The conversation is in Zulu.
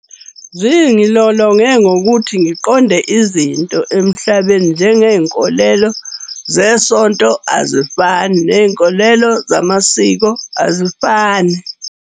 Zingilolonge ngokuthi ngiqonde izinto emhlabeni. Njengey'nkolelo zesonto azifani, ney'nkolelo zamasiko azifani.